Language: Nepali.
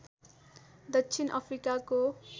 दक्षिण अफ्रिकाको